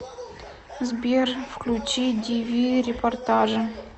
сбер включи ди ви репортажи